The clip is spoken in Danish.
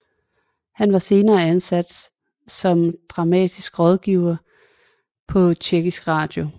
Han var senere ansat som dramatisk rådgiver på Tjekkisk Radio